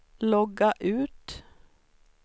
logga ut